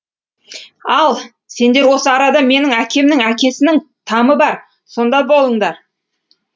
ал сендер осы арада менің әкемнің әкесінің тамы бар сонда болыңдар